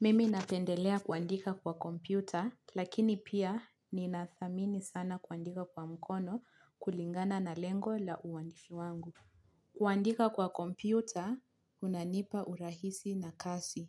Mimi napendelea kuandika kwa kompyuta, lakini pia ninathamini sana kuandika kwa mkono kulingana na lengo la uwandishi wangu. Kuandika kwa kompyuta, unanipa urahisi na kasi.